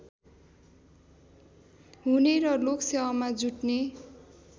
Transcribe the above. हुने र लोकसेवामा जुट्ने